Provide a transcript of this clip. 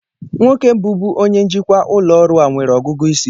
Nwoke bụbu onye njikwa ụlọ ọrụ a nwere ọgụgụ isi